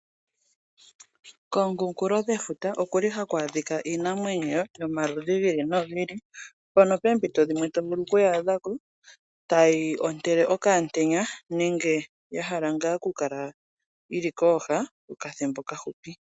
Komukunkulofuta gwefuta oku li haku adhika iinamwenyo yomaludhi gi ili nogi ili, mpono poompito dhimwe to vulu oku I adha ko tayi ontele okamutenya nenge ya hala ngaa okukala yi li kooha okathimbo okafupi.